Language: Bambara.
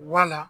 Wala